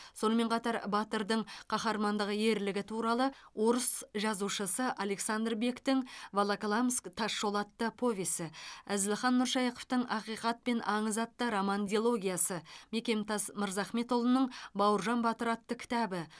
сонымен қатар батырдың қаһармандық ерлігі туралы орыс жазушысы александр бектің волоколамск тас жолы атты повесі әзілхан нұршайықовтың ақиқат пен аңыз атты роман дилогиясы мекемтас мырзахметұлының бауыржан батыр атты кітабы